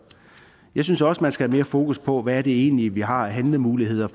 jeg synes også man skal have mere fokus på hvad det egentlig er vi har af handlemuligheder